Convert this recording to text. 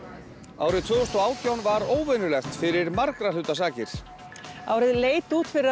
árið tvö þúsund og átján var óvenjulegt fyrir margra hluta sakir árið leit út fyrir að